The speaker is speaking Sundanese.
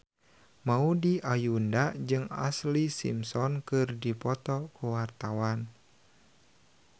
Maudy Ayunda jeung Ashlee Simpson keur dipoto ku wartawan